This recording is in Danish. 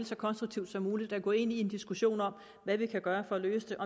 så konstruktivt som muligt at gå ind i en diskussion om hvad vi kan gøre for at løse